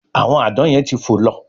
Àwọn Àdán yen tí ń fo ló